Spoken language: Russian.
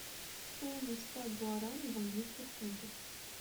стоимость ста гуарани в английских фунтах